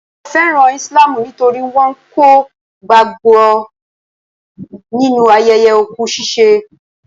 Mo fẹ́ràn Islamu nítorí wọn kò gbàgbọ́ nínu ayẹyẹ òkú ṣiṣẹ́.